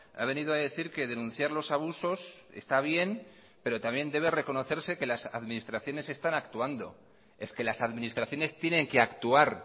ha venido a decir que denunciar los abusos está bien pero también debe reconocerse que las administraciones están actuando es que las administraciones tienen que actuar